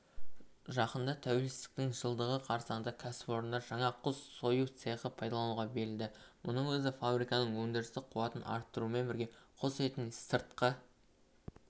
жақында тәуелсіздіктің жылдығы қарсаңында кәсіпорында жаңа құс сою цехы пайдалануға берілді мұның өзі фабриканың өндірістік қуатын арттырумен бірге құс етін сыртқы